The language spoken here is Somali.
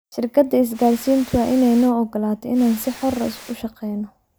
Shirkadda isgaarsiintu waa inay noo ogolaato inaan si xor ah u shaqayno.